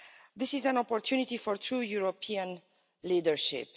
This is an opportunity for true European leadership.